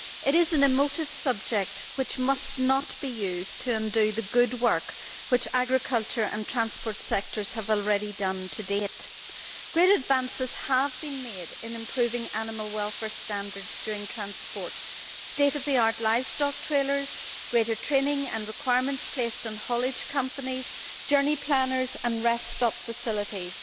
It is an emotive subject which must not be used to undo the good work which agriculture and transport sectors have already done to date. Great advances have been made in improving animal welfare standards during transport state of the art livestock trailers, greater training and requirements placed on haulage companies, journey planners and rest stop facilities.